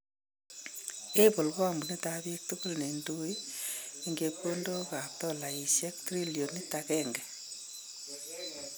Apple ko kampuniitab biik tukul nendoi en chepkondookab dolayisyeek trilioniiit 1.